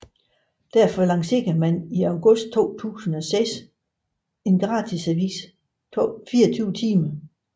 Derfor lancerede man i august 2006 gratisavisen 24timer